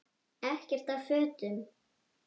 Ekkert af fötum